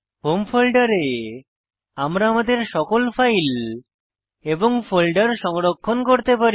home ফোল্ডারে আমরা আমাদের সকল ফাইল এবং ফোল্ডার সংরক্ষণ করতে পারি